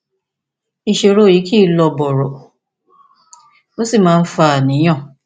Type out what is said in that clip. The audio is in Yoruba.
ìṣòro yìí kì í lọ bọrọ ó sì máa ń fa àníyàn